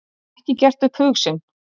Ekki gert upp hug sinn